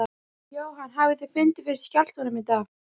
Jóhann hafið þið fundið fyrir skjálftum í dag?